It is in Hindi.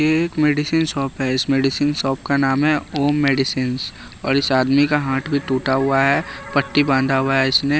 ये एक मेडिसिन शॉप है इस मेडिसिन शॉप का नाम है ओम मेडिसिंस और इस आदमी का हाथ भी टूटा हुआ है पट्टी बांधा हुआ है इसने--